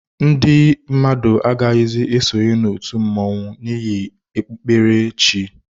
Ndị mmadụ agaghịzi esonye na otu mmanwu n'ihi okpukpere chi.